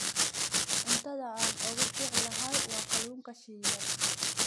Cuntada aan ugu jecelahay waa kalluunka shiilan.